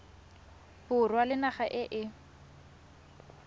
borwa le naga e e